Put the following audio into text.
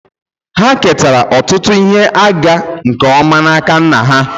Ha ketara ọtụtụ ihe ịga nke ọma n'aka nna ha